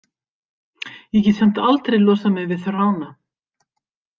Ég get samt aldrei losað mig við þrána.